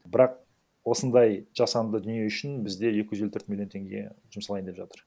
бірақ осындай жасанды дүние үшін бізде екі жүз елу төрт миллион теңге жұмсалайын деп жатыр